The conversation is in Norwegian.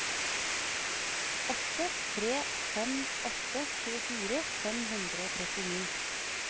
åtte tre fem åtte tjuefire fem hundre og trettini